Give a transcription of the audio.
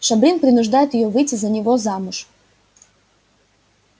шабрин принуждает её выйти за него замуж